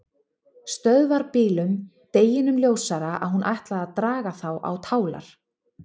Stöðvarbílum, deginum ljósara að hún ætlaði að draga þá á tálar.